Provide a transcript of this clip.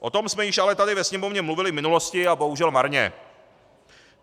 O tom jsem již ale tady ve Sněmovně mluvili v minulosti a bohužel marně.